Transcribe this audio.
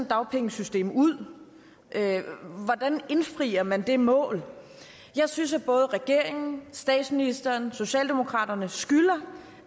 dagpengesystem ud hvordan indfrier man det mål jeg synes at både regeringen statsministeren og socialdemokraterne skylder